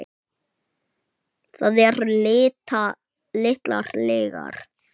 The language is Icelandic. Það eru litlar lygar.